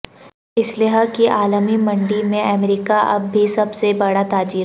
اسلحے کی عالمی منڈی میں امریکہ اب بھی سب سے بڑا تاجر